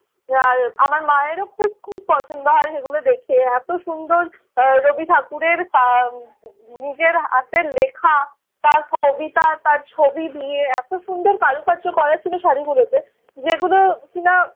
আর আমার মায়েরও খুব খুব পছন্দ হয় সেগুলো দেখে। এত সুন্দর আহ রবি ঠাকুরের আহ উম নিজের হাতের লেখা তার কবিতা তার ছবি দিয়ে এত সুন্দর কারুকার্য করা ছিল শাড়িগুলোতে যেগুলো কিনা